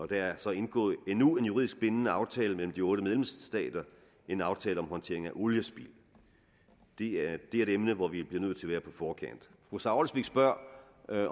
der er så indgået endnu en juridisk bindende aftale mellem de otte medlemsstater en aftale om håndtering af oliespild det er et emne hvor vi bliver nødt til at være på forkant fru sara olsvig spørger